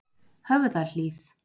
Höfðahlíð